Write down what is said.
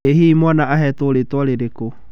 Ĩ hihi mwana aheetwo rĩĩtwa rĩrĩkũ?